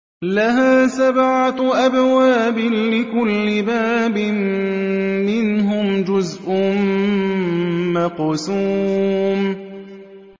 لَهَا سَبْعَةُ أَبْوَابٍ لِّكُلِّ بَابٍ مِّنْهُمْ جُزْءٌ مَّقْسُومٌ